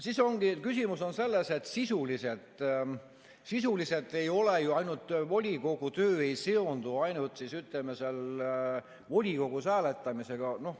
Siis ongi küsimus selles, et sisuliselt volikogu töö ei seondu ju ainult seal volikogus hääletamisega.